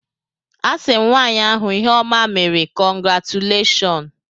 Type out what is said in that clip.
A sị m nwaanyị ahụ ihe ọma meere, kọngratuleshọn.